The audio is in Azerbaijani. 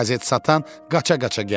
Qəzet satan qaça-qaça gəldi.